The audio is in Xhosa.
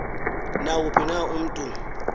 nawuphi na umntu